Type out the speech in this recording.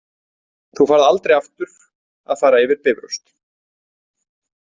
Þú færð aldrei aftur að fara yfir Bifröst.